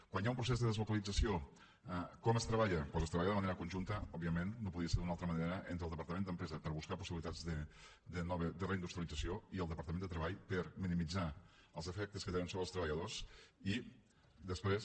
quan hi ha un procés de deslocalització com es treballa doncs es treballa de manera conjunta òbviament no podia ser d’una altra manera entre el departament d’empresa per buscar possibilitats de reindustrialització i el departament de treball per minimitzar els efectes que té sobre els treballadors i després